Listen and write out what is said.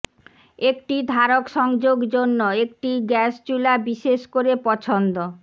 একটি ধারক সংযোগ জন্য একটি গ্যাস চুলা বিশেষ করে পছন্দ